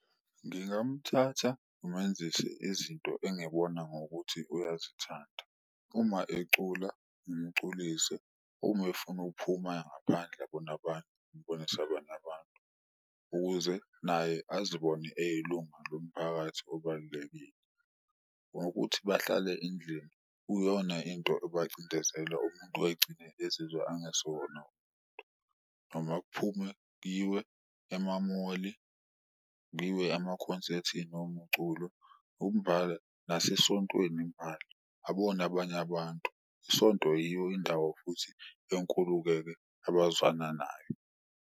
Ngingamthatha ngimenzise izinto engibona ngokuthi uyazithanda uma ecula ngimculise, uma efuna ukuphuma ngaphandle abone abanye, ngimbonise abanye abantu ukuze naye azibone eyilunga lomphakathi obalulekile. Ngokuthi bahlale endlini uyona into ebacindezela umuntu egcine ezizwe angesiwona noma kuphume kuyiwe emamoli, kuyiwe emakhonsethini omuculo. Umbala nasesontweni imbala abone abanye abantu, isonto yiyo indawo futhi enkulu-ke-ke abazwana nayo.